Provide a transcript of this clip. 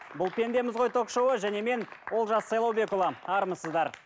бұл пендеміз ғой ток шоуы және мен олжас сайлаубекұлы армысыздар